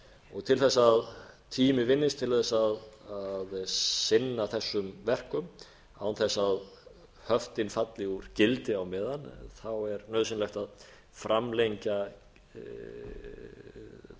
hluti til þess að tími vinnist til að sinna þessum verkum án þess að höftin falla úr gildi á meðan er nauðsynlegt að framlengja gildistöku